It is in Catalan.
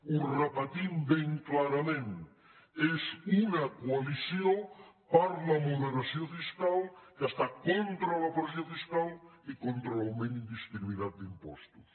ho repetim ben clarament és una coalició per la moderació fiscal que està contra la pressió fiscal i contra l’augment indiscriminat d’impostos